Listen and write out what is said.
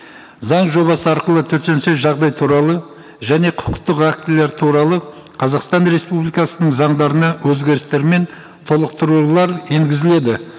заң жобасы арқылы төтенше жағдай туралы және құқықтық актілер туралы қазақстан республикасының заңдарына өзгерістер мен толықтырулар енгізіледі